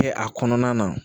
Kɛ a kɔnɔna na